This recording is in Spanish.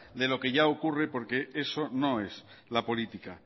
de lo que ya ocurre porque eso no es la política